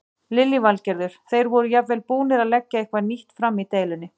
Lillý Valgerður: Þeir voru jafnvel tilbúnir að leggja eitthvað nýtt fram í deilunni?